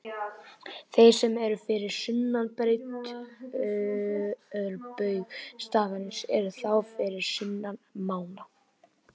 Þeir sem eru fyrir sunnan breiddarbaug staðarins eru þá fyrir sunnan mána.